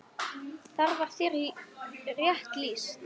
Þar var þér rétt lýst!